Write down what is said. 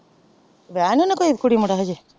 ਵਿਆਹਾਯਾ ਨੀ ਹਜੇ ਕੋਇ ਕੁੜੀ ਮੁੰਡੇ ਹਨ ਹਜੇ।